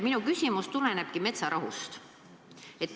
Minu küsimus tuleb metsarahu kohta.